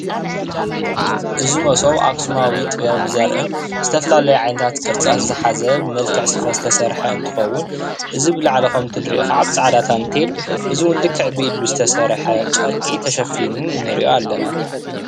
እዚ መሶብ ኣክስማዊት ጥበብ ዘሪእን ዝተፈላለዩ ዓይነታት ቅርፅታት ዝሓዘ ብመልክዕ ስፈ ዝተሰርሐ እንትከውን እዚ ብላዕሊ ከምእቲ እንሪኦ ከዓ ብፃዕዳ ታንቴል እዚእውን ልክዕ ብኢድ ዝተሰርሐ ጨርቂ ተሸፊኑ እንርእዮ ኣለና።